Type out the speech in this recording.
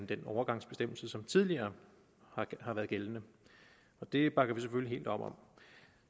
den overgangsbestemmelse som tidligere har været gældende og det bakker vi selvfølgelig helt op om